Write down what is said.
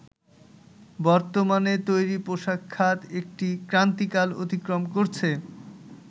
বর্তমানে তৈরি পোশাক খাত একটি ক্রান্তিকাল অতিক্রম করছে